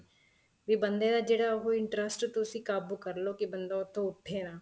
ਵੀ ਬੰਦੇ ਦਾ ਜਿਹੜਾ ਉਹ interest ਤੁਸੀਂ ਕਾਬੂ ਕਰਲੋ ਕੀ ਬੰਦਾ ਉੱਥੋ ਉੱਠੇ ਨਾ